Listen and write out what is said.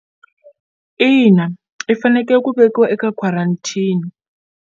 Ina, i faneke ku vekiwa eka quarantine.